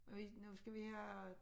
Og i nu skal vi have